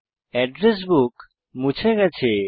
address book মুছে গেছে